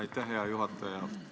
Aitäh, hea juhataja!